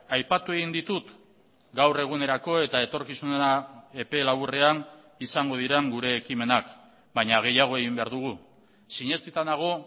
aipatu egin ditut gaur egunerako eta etorkizunera epe laburrean izango diren gure ekimenak baina gehiago egin behar dugu sinetsita nago